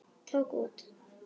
Tók út.